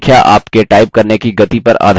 अब speed field में देखें